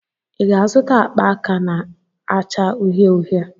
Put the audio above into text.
Ị ga-azụta akpa aka na-acha uhie uhie?